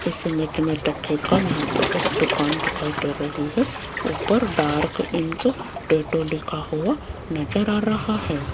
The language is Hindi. इस इमेज में यहाँ पे एक दुकान दिखाई दे रही है ऊपर डार्क इंक टैटू लिखा हुआ नजर आ रहा है।